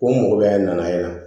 O mɔgɔya in nana yen